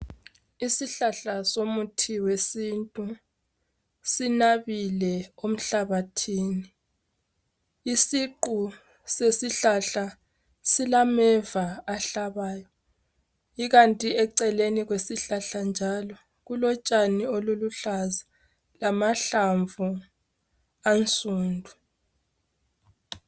Isihlahla somuthi wesintu sinabile emhlabathini isiqu sesihlahla silameva ahlabayo ikanti eceleni kwesihlahla njalo kulotshani oluluhlaza lamahlamvu asundu.